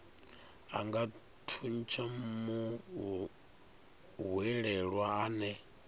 a nga thuntsha muhwelelwa ane